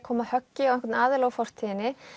koma höggi á einhvern aðila úr fortíðinni